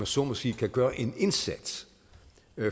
så må sige kan gøre en indsats